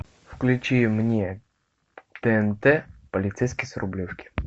включи мне тнт полицейский с рублевки